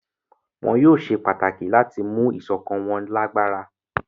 Wón yóò ṣe pàtàkì láti mú ìsọkan wón lágbára.